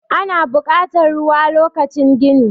ana bukatar ruwa lokacin gini